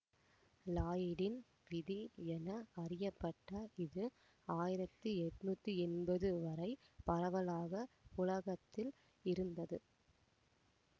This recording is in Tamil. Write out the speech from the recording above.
லாயிடின் விதி என அறியப்பட்ட இது ஆயிரத்தி எட்ணூத்தி எம்பது வரை பரவலாக புழக்கத்தில் இருந்தது